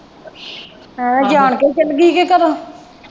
ਆਹੋ ਜਾਨ ਕੇ ਚੱਲ ਗਈ ਹੀ ਤੂੰ ਘਰੋਂ।